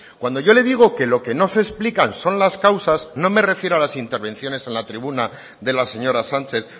cuando yo le digo que lo que no se explican son las causas no me refiero a las intervenciones en la tribuna de la señora sánchez